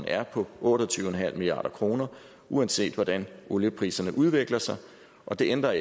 er på otte og tyve milliard kr uanset hvordan oliepriserne udvikler sig og det ændrer